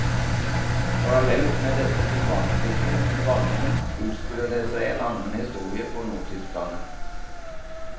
Parallellt med dette tilbakeblikket til barndommen, utspiller det seg en annen historie på nåtidsplanet.